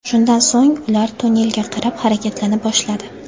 Shundan so‘ng ular tunnelga qarab harakatlana boshladi.